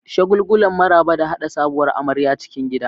Shagulgulan maraba da haɗa sabuwar amarya cikin gida.